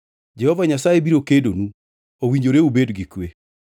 Jehova Nyasaye biro kedonu; owinjore ubed gi kwe.”